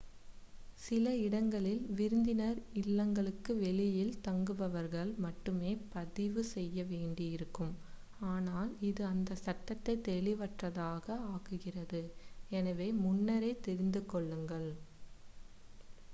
சில இடங்களில் விருந்தினர் இல்லங்களுக்கு வெளியில் தங்குபவர்கள் மட்டுமே பதிவு செய்ய வேண்டி இருக்கும் ஆனால் இது அந்த சட்டத்தைத் தெளிவற்றதாக ஆக்குகிறது எனவே முன்னரே தெரிந்து கொள்ளுங்கள்